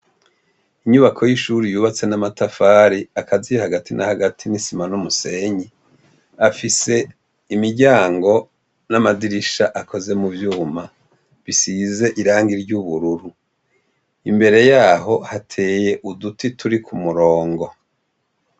Inyubako y'ishuri yubatse n'amatafari akazi hagati na hagati n'isima n'umusenyi, afise imiryango n'amadirisha akoze mu vyuma bisize irangi ry'ubururu, imbere yaho hateye uduti turi ku murungo.